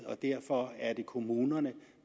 og derfor er det kommunerne